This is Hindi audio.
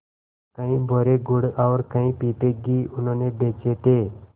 कई बोरे गुड़ और कई पीपे घी उन्होंने बेचे थे